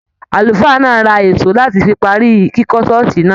Àlùfáà náà ra ìṣó láti fi parí kíkọ́ ṣọ́ọ̀ṣì náà.